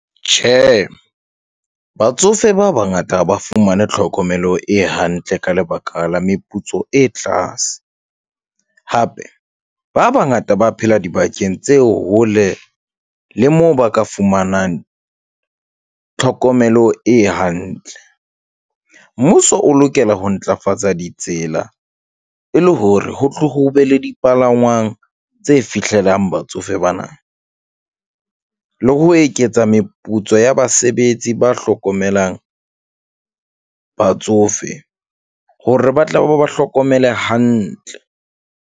Tjhe, batsofe ba bangata ha ba fumane tlhokomelo e hantle ka lebaka la meputso e tlase, hape ba bangata ba phela dibakeng tse hole le moo ba ka fumanang tlhokomelo e hantle. Mmuso o lokela ho ntlafatsa ditsela e le hore ho tlo ho be le dipalangwang tse fihlelang batsofe bana le ho eketsa meputso ya basebetsi, ba hlokomelang batsofe hore ba tla be ba ba hlokomele hantle.